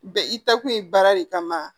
Bɛ i taa kun ye baara de kama